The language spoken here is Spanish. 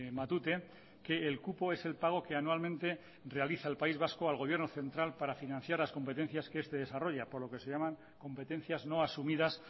matute que el cupo es el pago que anualmente realiza el país vasco al gobierno central para financiar las competencias que este desarrolla por lo que se llaman competencias no asumidas